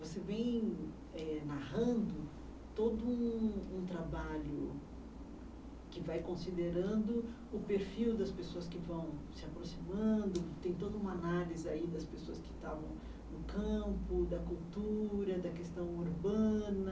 Você vem eh narrando todo um um trabalho que vai considerando o perfil das pessoas que vão se aproximando, tem toda uma análise aí das pessoas que estavam no campo, da cultura, da questão urbana